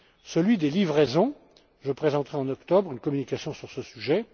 Celui des livraisons je présenterai en octobre une communication sur ce sujet.